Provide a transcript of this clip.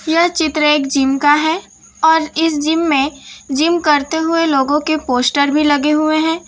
यह चित्र एक जिम का है और इस जिम में जिम करते हुए लोगों के पोस्टर भी लगे हुए हैं।